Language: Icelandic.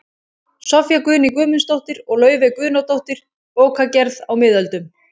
Soffía Guðný Guðmundsdóttir og Laufey Guðnadóttir, Bókagerð á miðöldum